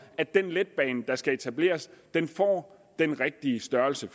at den letbane der skal etableres får den rigtige størrelse